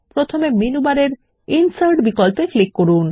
প্রথমে মেনু বারের ইনসার্ট বিকল্পে ক্লিক করুন